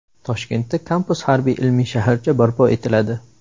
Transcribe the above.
Toshkentda kampus harbiy-ilmiy shaharcha barpo etiladi.